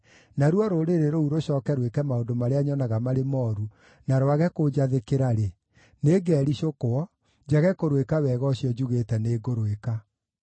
naruo rũrĩrĩ rũu rũcooke rwĩke maũndũ marĩa nyonaga marĩ mooru na rwage kũnjathĩkĩra-rĩ, nĩngericũkwo, njage kũrũĩka wega ũcio njugĩte nĩngũrũĩka.